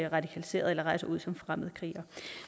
radikaliseret eller rejser ud som fremmede krigere